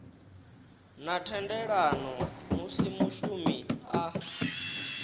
na thendelano musi mushumi a